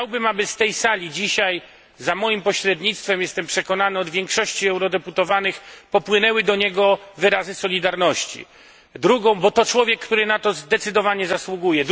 Chciałbym, aby z tej sali dzisiaj za moim pośrednictwem jestem przekonany od większości eurodeputowanych popłynęły do niego wyrazy solidarności, bo to człowiek, który na to zdecydowanie zasługuje.